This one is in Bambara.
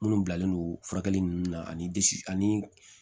Minnu bilalen don furakɛli ninnu na ani ani